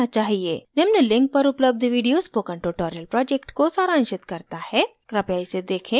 निम्न link पर उपलब्ध video spoken tutorial project को सारांशित करता है कृपया इसे देखें